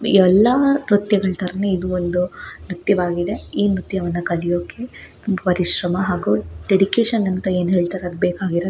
ಇವೆಲ್ಲಾ ನೃತ್ಯ ಗಳ ತರನೆ ಇದು ಒಂದು ನೃತ್ಯವಾಗಿದೆ ಈ ನೃತ್ಯವನ್ನು ಕಲಿಯೋಕ್ಕೆ ಪರಿಶ್ರಮ ಹಾಗು ಡೆಡಿಕೇಶನ್ ಅಂತ ಏನ್ ಹೇಳತ್ತರೆ ಅದು ಬೇಕಾಗಿರುತ್ತೆ.